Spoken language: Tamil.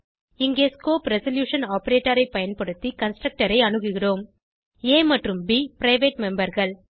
இங்கே ஸ்கோப் ரெசல்யூஷன் ஆப்பரேட்டர் ஐ பயன்படுத்தி கன்ஸ்ட்ரக்டர் ஐ அணுகுகிறோம் ஆ மற்றும் ப் பிரைவேட் memberகள்